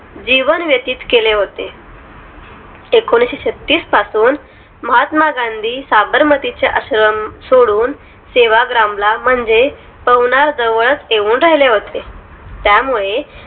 जीवन व्यतीत केले होते. एकोणीसछत्तीस पासून महात्मा गांधी साबरमती चा आश्रम सोडून सेवाग्राम ला म्हणजे पवनार जवळच येऊन राहिले. होते त्यामुळे